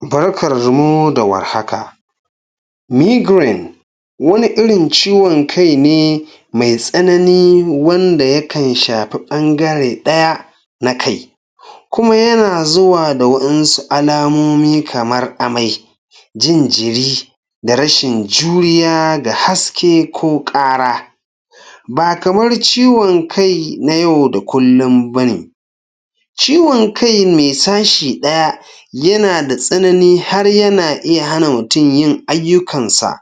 Barkarmu da war haka! Migraine wani irin ciwon kai ne mai tsanani wanda yakan shafi ɓangare ɗaya na kai kuma yana zuwa waƴansu alamomi kamar amai, jin jiri da rashin juriya ga haske ko ƙara. Ba kamar ciwon kai na yau da kullum ba ne. Ciwon kai mai sashi ɗaya yana da tsanani har yana iya hana mutum yin ayyukansa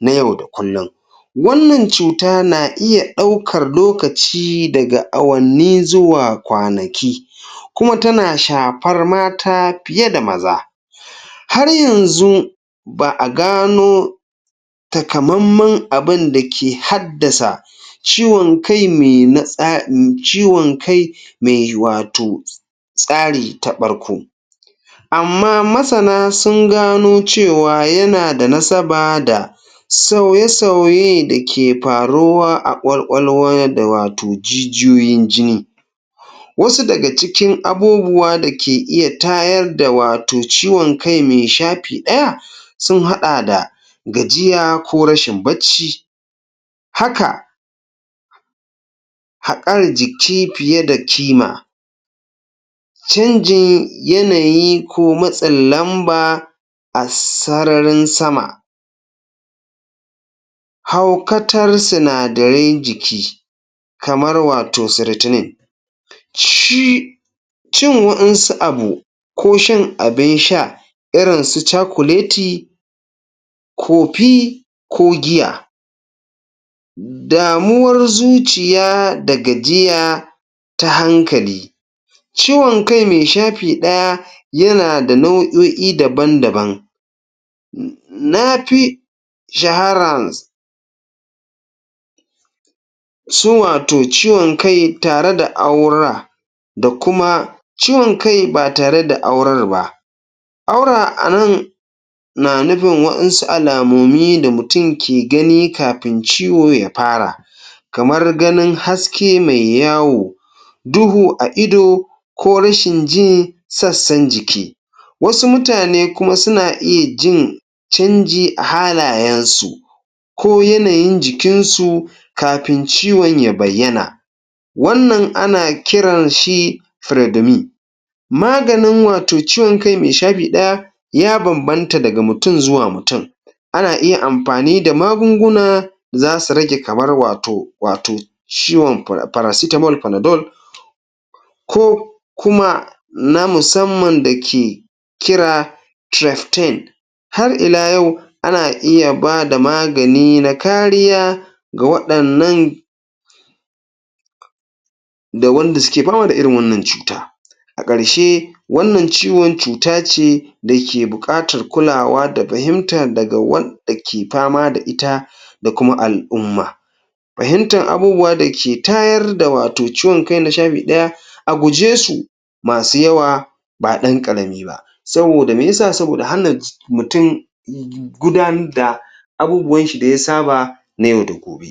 na yau da kullum. Wanda cuta na iya ɗaukar lokaci daga awanni zuwa kwanaki kuma tana shafar mata fiye da maza. Har yanzu ba a gano takamamman abun da ke haddasa ciwon kai mai na tsa, ciwon kai mai wato tsari ta ɓarku Amma masana sun gano cewa yana da nasaba da sauye-sauye da ke faruwa a ƙwaƙwalwa da wato jijiyoyin jini Wasu daga cikin abubuwa da ke iya tayar da wato ciwon kai mai shafi ɗaya sun haɗa da gajiya ko rashin bacci. Haka haƙar jiki fiye da kima canjin yanayi ko matsin lamba a sararin sama haukatar sinadaran jiki, kamar wato ciratinin. Ci Cin waƴansu abu ko shan abin sha irin su cakuleti, kofi ko giya damuwar zuciya da gajiya ta hankali. Ciwon kai mai shafi ɗaya yana da nau'o'i dabn-daban Na fi shaharans su wato ciwon kai tare da aura da kuma ciwon kai ba tare da aurar ba. Aura a nan na nufin wasu alamomi da mutum ke gani kafin ciwo ya faram, kamar gabin haske mai yawo, duhu a ido ko rashin ji sassan jiki. Wasu mutane kuma suna iya jin canji a halayensu ko yanayin jikinsu kafin ciwon ya bayyana. Wannan ana kiran shi firedemi. Maganin wato ciwon kai mai shafi ɗaya ya bambanta daga mutum zuwa mutum. Ana iya amfani da magunguna, za su rage kamar wato ciwon, paracetamol, panadol ko kuma na musamman da ke kira tirestin. Har ila yau, ana iya ba da magani na kariya ga waɗannan da wanda suke fama da irin wannan cuta. A ƙarshe, wannan ciwon cuta ce da ke buƙatar kulawa da fahimtan daga wanda ke fama da ita da kuma al'umma. Fahimtan abubuwa da ke tayar da wato ciwon kai na shafi ɗaya a guje su masu yawa, ba ɗan ƙarami ba Saboda me ya sa? Saboda hana mutum gudanar da abubuwan shi da ya saba na yau da gobe.